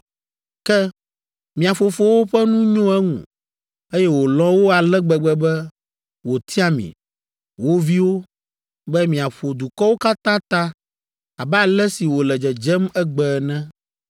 Ke mia fofowo ƒe nu nyo eŋu, eye wòlɔ̃ wo ale gbegbe be wòtia mi, wo viwo, be miaƒo dukɔwo katã ta abe ale si wòle dzedzem egbe ene,